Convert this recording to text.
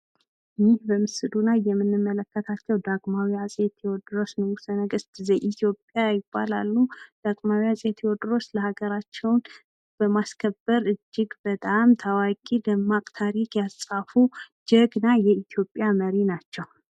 ይህ በምስሉ ላይ የምንመለከታቸው ዳግማዊ አጼ ቴዎድሮስ ንጉሠ ነገስት ዘኢትዮጵያ ይባላሉ። ዳግማዊ አጼ ቴዎድሮስ ለሀገራቸው በማስከበር እጅግ በጣም ታዋቂ ደማቅ ታሪክ ያጻፉ ጀግና የኢትዮጵያ መሪ ናቸው።